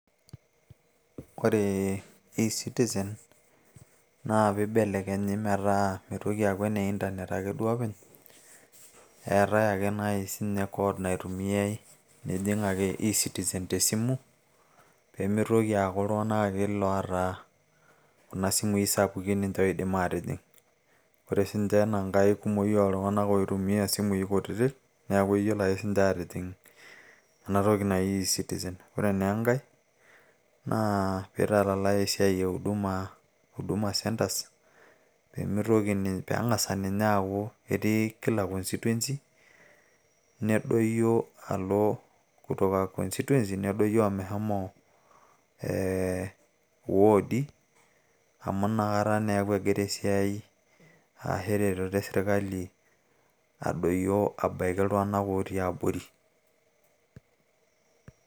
ore e citizen naa piibelekenyi metaa mitoki aaku ene internet ake duo openy eetay ake nai siinye code naitumiay nijing ake e citizen tesimu pee mitoki aaku iltung'anak ake loota kuna simui sapukin ninche oidim aatijing ore siinche enankae kumoki oltung'anak oitumia isimui kutitik neeku eyiolo ake siiniche atijing ena toki naji e citizen ore naa enkay naa piitalalay esiai e huduma centres peeng'asa ninye aaku etii kila constituency nedoyio alo kutoka constituency nedoyio omeshomo Iwoodi amu inakata neeku egira esiai aashu eretototo esirkali adoyio ashu abaiki iltung'anak otii abori.